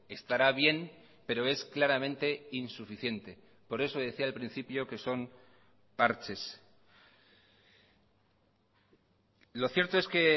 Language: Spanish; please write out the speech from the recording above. estará bien pero es claramente insuficiente por eso decía al principio que son parches lo cierto es que